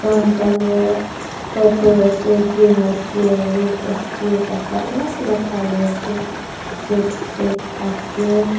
brown colour purple ase green ase red ase kapara alak alak colour ase set set ase.